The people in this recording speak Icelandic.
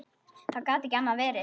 Það gat ekki annað verið.